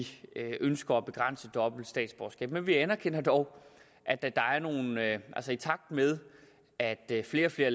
at vi ønsker at begrænse dobbelt statsborgerskab men vi anerkender dog at i takt med at flere og flere